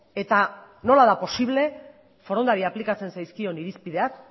eta nola da posible forondari aplikatzen zaizkion irizpideak